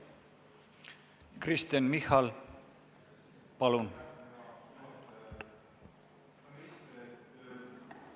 Kristen Michal, palun!